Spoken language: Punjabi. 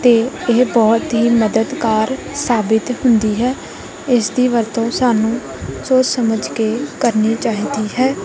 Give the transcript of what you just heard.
ਤੇ ਇਹ ਬਹੁਤ ਹੀ ਮਦਦਗਾਰ ਸਾਬਿਤ ਹੁੰਦੀ ਹੈ ਇਸ ਦੀ ਵਰਤੋਂ ਸਾਨੂੰ ਸੋਚ ਸਮਝ ਕੇ ਕਰਨੀ ਚਾਹੀਦੀ ਹੈ।